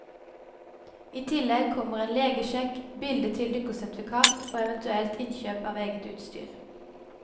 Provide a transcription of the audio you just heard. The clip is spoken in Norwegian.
I tillegg kommer en legesjekk, bilde til dykkesertifikat og eventuelt innkjøp av eget utstyr.